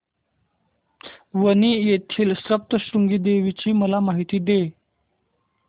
वणी येथील सप्तशृंगी देवी ची मला माहिती दे